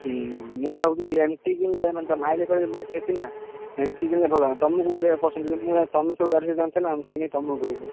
ହୁଁ ମୁଁ ଭାବୁଥିଲି MT କିଣିଲେ ମାନେ ତା mileage ବେଶୀ ଅଛି ନା MT କିଣିଲେ ଭଲ ହବ ତମକୁ କୋଉ ଭଳିଆ ପସନ୍ଦ କହିଲ ମୁଁ ଭାବିଲି ତମେ ସବୁ ଗାଡି ସେମିତିକା ଆଣୁଛ ନା ମୁଁ ସେଇନାଗି ତମକୁ କହିଲି